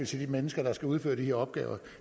til de mennesker der skal udføre de her opgaver